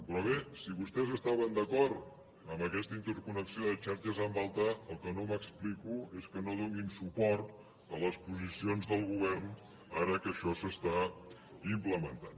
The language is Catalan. però bé si vostès estaven d’acord amb aquesta interconnexió de xarxes amb alta el que no m’explico és que no donin suport a les posicions del govern ara que això s’està implementant